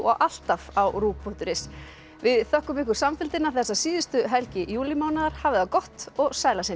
alltaf á punktur is við þökkum ykkur samfylgdina þessa síðustu helgi júlímánaðar hafið það gott og sæl að sinni